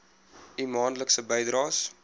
u maandelikse bydraes